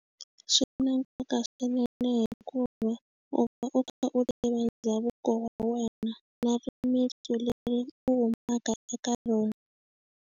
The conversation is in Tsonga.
Swi na nkoka swinene hikuva u va u kha u tiva ndhavuko wa wena na rimintsu leri u humaka eka rona.